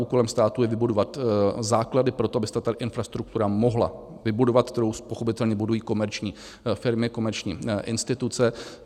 Úkolem státu je vybudovat základy pro to, aby se ta infrastruktura mohla vybudovat, kterou pochopitelně budují komerční firmy, komerční instituce.